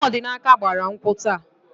Nwanne Ọdịnaka gbara nkwụ taa.